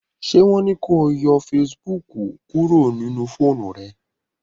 ṣe wón ní kò yọ Facebook kúrò nínú fóònù rẹ?